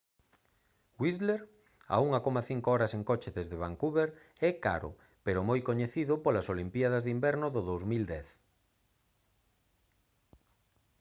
whistler a 1,5 horas en coche desde vancouver é caro pero moi coñecido polas olimpíadas de inverno do 2010